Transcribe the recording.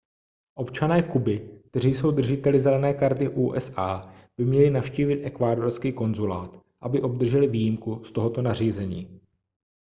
občané kuby kteří jsou držiteli zelené karty usa by měli navštívit ekvádorský konzulát aby obdrželi výjimku z tohoto nařízení